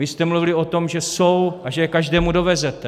Vy jste mluvili o tom, že jsou a že je každému dovezete.